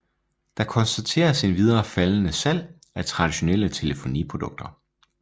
Der konstateres endvidere faldende salg af traditionelle telefoniprodukter